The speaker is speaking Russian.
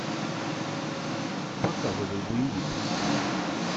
показывай боевик